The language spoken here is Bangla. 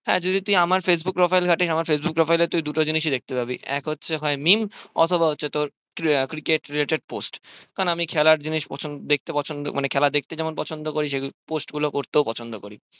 হ্যাঁ যদি তুই আমার facebook profile ঘাঁটিস আমার facebook profile এ তুই দুটো জিনিসই দেখতে পাবি এক হচ্ছে হয় meme অথবা হচ্ছে তোর cricket related post কারণ আমি খেলার জিনিস পছন্দ দেখতে পছন্দ মানে খেলা দেখতে যেমন পছন্দ করি সেগুলো post করতেও পছন্দ করি